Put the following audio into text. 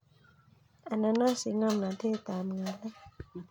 Anan osich ngomnatetab ngalek